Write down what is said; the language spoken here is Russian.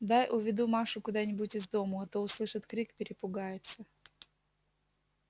дай уведу машу куда-нибудь из дому а то услышит крик перепугается